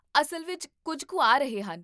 ਅਸਲ ਵਿੱਚ ਕੁੱਝ ਕੁ ਆ ਰਹੇ ਹਨ